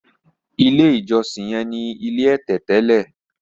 ilé ìjósìn yen ní ilé ẹ̀tẹ̀ tẹlẹ.